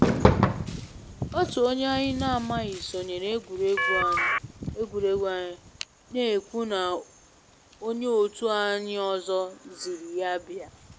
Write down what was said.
Otu onye anyị na amaghị sonyere egwuregwu anyị, egwuregwu anyị, na ekwu na onye otu anyị ọzọ ziri ya bịa